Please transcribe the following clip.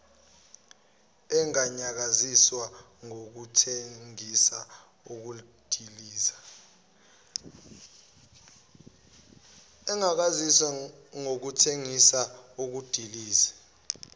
enganyakaziswa ngokuthengisa ukudiliza